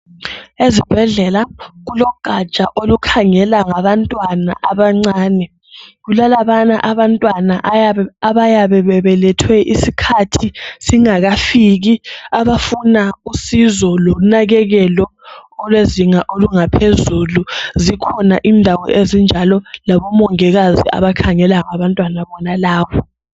Ezibhedlela kulogaja olukhangela ngabantwana abancane. Kulalabayana abantwana abayabe bebelethwe isikhathi singakafiki. Abafuna usizo, lonakekelo olwezinga olungaphezulu. Zikhona indawo ezinjalo. Labomongikazi abakhangela ngabantwana bonalabo.